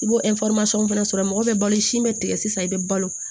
I b'o fana sɔrɔ mɔgɔ bɛ balo si in bɛ tigɛ sisan i bɛ balo